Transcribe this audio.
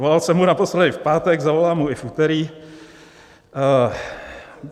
Volal jsem mu naposledy v pátek, zavolám mu i v úterý.